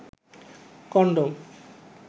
condom